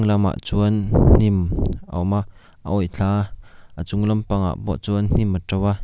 chuan hnim a awm a a awih thla a a chung lampangah pawh chuan hnim a to a.